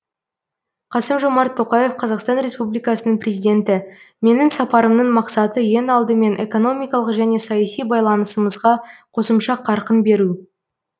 қасым жомарт тоқаев қазақстан республикасының президенті менің сапарымның мақсаты ең алдымен экономикалық және саяси байланысымызға қосымша қарқын беру